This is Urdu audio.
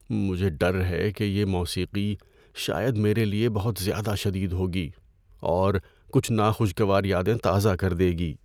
مجھے ڈر ہے کہ یہ موسیقی شاید میرے لیے بہت زیادہ شدید ہوگی اور کچھ ناخوشگوار یادیں تازہ کر دے گی۔